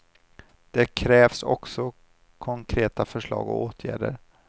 Det krävs också konkreta förslag och åtgärder.